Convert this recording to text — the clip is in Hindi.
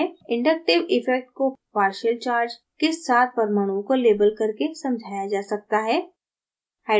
inductive effect को partial charge के साथ परमाणुओं को लेबल करके समझाया जा सकता है